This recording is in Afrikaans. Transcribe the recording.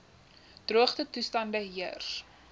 droogte toestande heers